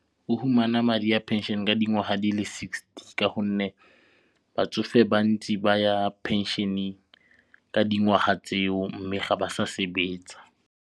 O fumana madi a pension ka dingwaga di le sixty ka gonne batsofe bantsi ba ya pension-eng ka dingwaga tseo mme ga ba sa sebetsa.